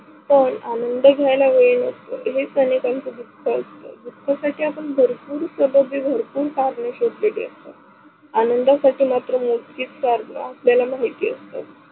पन आनंद घ्यायला वेळ नसत हे, अनेकांचं दुख असत दुखासाठी आपण भरपूर स्वताचे भरपूर करणे शोधलेले असतात. आनंदासाठी मत्र मोचकेच कारण आपल्याला माहित असतत्.